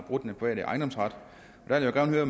den private ejendomsret jeg vil gerne høre